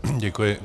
Děkuji.